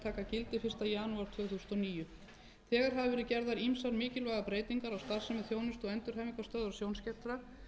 þegar hafa verið gerðar ýmsar mikilvægar breytingar á starfsemi þjónustu og endurhæfingarstöðvar sjónskertra